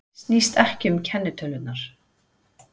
Snýst ekki um kennitölurnar